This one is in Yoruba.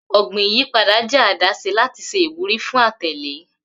Ogbin iyipada jẹ adaṣe lati ṣe iwuri fun atẹle.